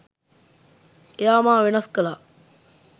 එයා මා වෙනස් කළා.